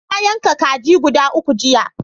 Na yanka kaji guda uku jiya.